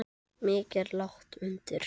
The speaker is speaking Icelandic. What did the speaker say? Mikið er lagt undir.